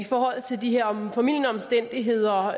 forhold til de her formildende omstændigheder